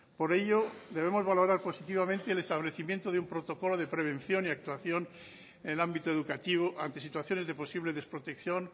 por ello debemos valorar positivamente el establecimiento de un protocolo de prevención y actuación en el ámbito educativo ante situaciones de posible desprotección